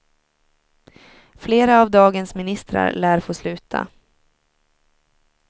Flera av dagens ministrar lär få sluta.